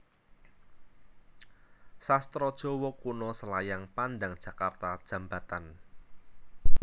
Sastra Jawa Kuno Selayang Pandang Jakarta Djambatan